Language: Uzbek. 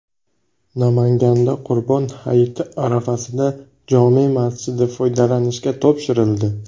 Namanganda Qurbon hayiti arafasida jome masjidi foydalanishga topshirildi .